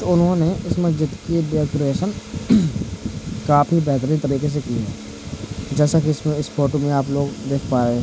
उन्होंने इस मस्जिद की डेकोरेशन काफी बेहतरीन तरीके से की है जैसा कि इस फोटो में आप लोग देख पा रहे हैं।